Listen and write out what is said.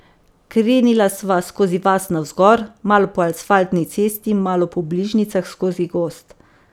Krenila sva skozi vas navzgor, malo po asfaltni cesti, malo po bližnjicah skozi gozd.